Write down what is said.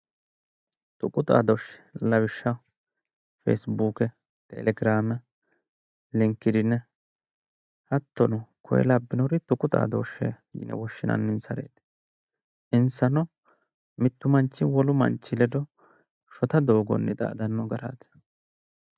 Tuqu xaadooshshe lawishshaho, feesibuuke, telegiraame, linkidiine hattono koyee labbannore tuqu xaadooshsheeti yine woshshinanninsareeti, insanno wole manchi kedo shotu garinni xaadanno garaati.